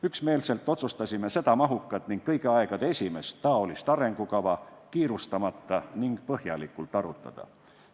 Üksmeelselt otsustasime seda mahukat ning kõigi aegade esimest taolist arengukava kiirustamata ja põhjalikult arutada.